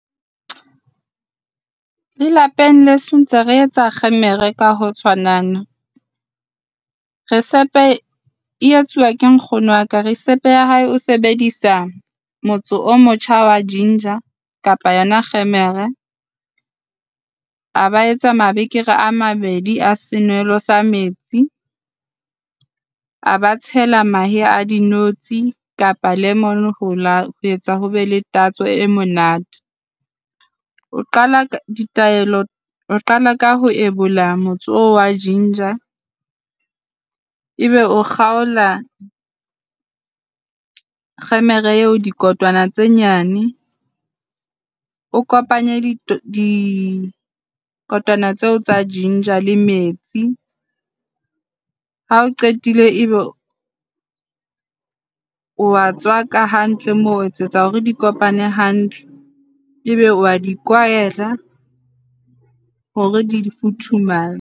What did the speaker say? Lelapeng leso ntse re etsa kgemere ka ho tshwanana. Recipe e etsuwa ke nkgono waka. Recipe ya hae o sebedisa motso o motjha wa ginger kapa yona kgemere. A ba etsa mabekere a mabedi a senwelo sa metsi, a ba tshela mahe a dinotshi kapa lemon. Ho etsa ho be le tatso e monate. O qala ka ditaelo, o qala ka ho ebola motse oo wa ginger. E be o kgaola kgemere eo dikotwana tse nyane o kopanye dikotwana tseo tsa ginger le metsi. Ha o qetile ebe wa tswaka hantle, ho etsetsa hore di kopane hantle ebe wa di kwahela hore di futhumale.